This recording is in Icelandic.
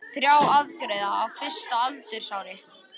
Þrjár aðgerðir á fyrsta aldursári